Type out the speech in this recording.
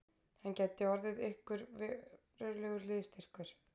Hann gæti orðið okkur verulegur liðsstyrkur